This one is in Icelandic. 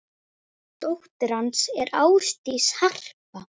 Dóttir hans er Ásdís Harpa.